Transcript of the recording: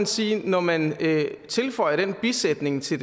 sige at når man tilføjer den bisætning til